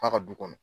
F'a ka du kɔnɔ